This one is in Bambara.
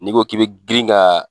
N'i ko k'i bɛ girin ka